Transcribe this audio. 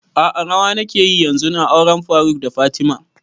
A'a rawa nake yi yanzun a auren faruk da fatima